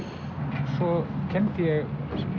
svo kenndi ég